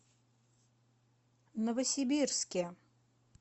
новосибирске